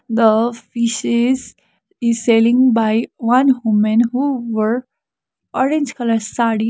the fishes is selling by one homen who were orange colour saree.